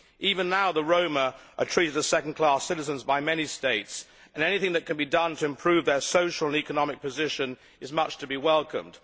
Even now the Roma are treated as second class citizens by many states and anything that can be done to improve their social and economic position is much to be welcomed.